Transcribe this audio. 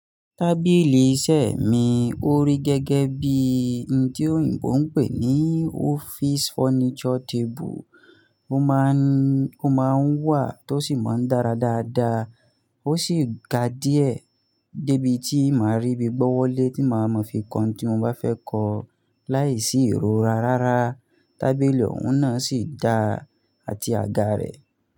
Tábìlì iṣẹ́ mi ó rí gẹ́gẹ́bí i n tí òyìnbó ń pè ní office furniture table. Ó máa ń, ó máa ń wà tó sì máa ń dára dáadáa. Ó ṣì ga díẹ̀ débi tí màá rí bi gbọ́wọ́lé tí màá ma fi kan tí mo bá fẹ́ kọ láìsí ìrora rárá. Tábìlì ọ̀hún náà ṣì dáa àti àga rẹ̀